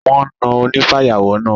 Wọ́n na onífàyàwọ́ náà.